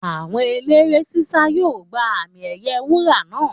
Àwọn eléré ṣíṣá yóò gba àmì ẹ̀yẹ wúrà náà